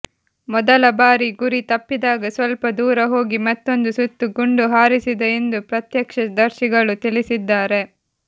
ಮೊದಲ ಬಾರಿ ಗುರಿ ತಪ್ಪಿದಾಗ ಸ್ವಲ್ಪ ದೂರ ಹೋಗಿ ಮತ್ತೊಂದು ಸುತ್ತು ಗುಂಡು ಹಾರಿಸಿದ ಎಂದು ಪ್ರತ್ಯಕ್ಷದರ್ಶಿಗಳು ತಿಳಿಸಿದ್ದಾರೆ